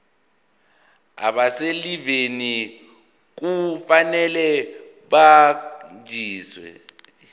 abaselivini kufanele bakhonjiswe